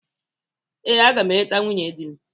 Ee, aga m eleta nwunye di m.